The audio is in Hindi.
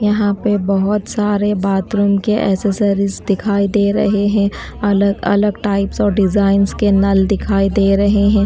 यहां पे बहुत सारे बाथरूम के एसेसरीज दिखाई दे रहे हैं अलग अलग टाइप्स और डिजाइंस के नल दिखाई दे रहे हैं।